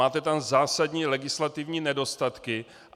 Máte tam zásadní legislativní nedostatky.